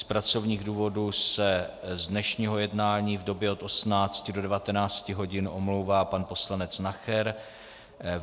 Z pracovních důvodů se z dnešního jednání v době od 18.00 do 19.00 hodin omlouvá pan poslanec Nacher.